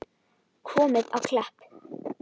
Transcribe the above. Komið á Klepp?